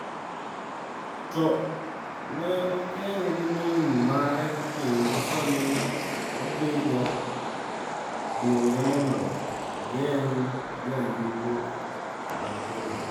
To ne okonye gi min mare kendo sani oting’o dwonde mondo ogeng’ jolupo wetene.